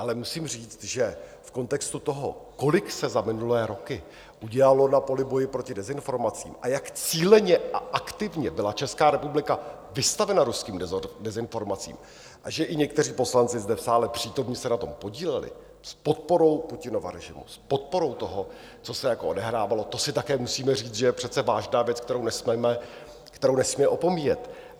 Ale musím říct, že v kontextu toho, kolik se za minulé roky udělalo na poli boje proti dezinformacím, jak cíleně a aktivně byla Česká republika vystavena ruským dezinformacím a že i někteří poslanci zde v sále přítomní se na tom podíleli, s podporou Putinova režimu, s podporou toho, co se odehrávalo, to si také musíme říct, že je přece vážná věc, kterou nesmíme opomíjet.